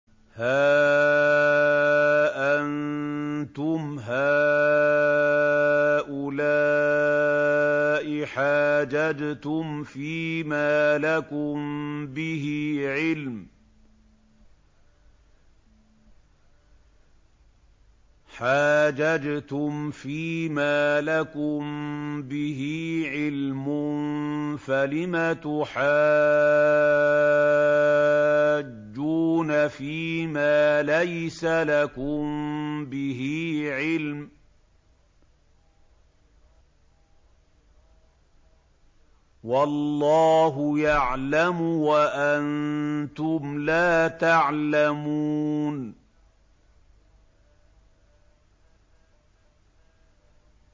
هَا أَنتُمْ هَٰؤُلَاءِ حَاجَجْتُمْ فِيمَا لَكُم بِهِ عِلْمٌ فَلِمَ تُحَاجُّونَ فِيمَا لَيْسَ لَكُم بِهِ عِلْمٌ ۚ وَاللَّهُ يَعْلَمُ وَأَنتُمْ لَا تَعْلَمُونَ